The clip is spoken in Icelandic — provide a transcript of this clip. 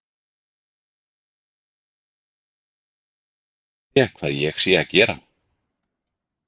Þá hugsar karl með sér: Nú munu þeir spyrja hvað ég sé að gera.